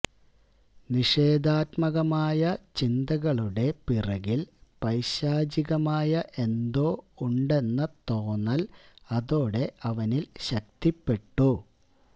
നിഷേധാത്മകമായ ചിന്തകളുടെ പിറകിൽ പൈശാചികമായ എന്തോ ഉണ്ടെന്ന തോന്നൽ അതോടെ അവനിൽ ശക്തിപ്പെട്ടു